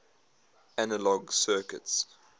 analog circuits